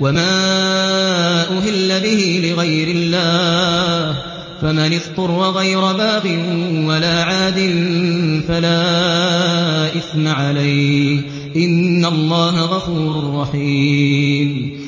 وَمَا أُهِلَّ بِهِ لِغَيْرِ اللَّهِ ۖ فَمَنِ اضْطُرَّ غَيْرَ بَاغٍ وَلَا عَادٍ فَلَا إِثْمَ عَلَيْهِ ۚ إِنَّ اللَّهَ غَفُورٌ رَّحِيمٌ